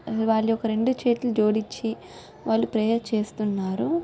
వాళ్ళు ఒక రెండు చేతులు జోడిచ్చి వాళ్ళు ప్రేయర్ చేస్తున్నారు.